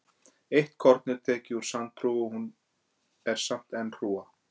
Ef eitt korn er tekið úr sandhrúga er hún samt enn hrúga.